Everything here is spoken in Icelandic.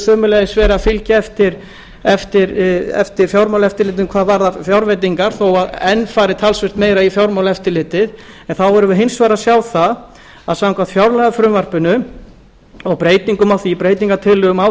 sömuleiðis verið að fylgja eftir fjármálaeftirlitinu hvað varðar fjárveitingar þó að enn fari talsvert meira í fjármálaeftirlitið erum við hins vegar að sjá það að samkvæmt fjárlagafrumvarpinu og breytingum á því breytingartillögum á